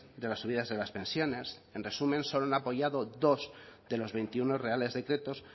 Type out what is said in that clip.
de las subidas de las pensiones en resumen solo han apoyado dos de los veintiuno reales decretos